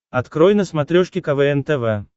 открой на смотрешке квн тв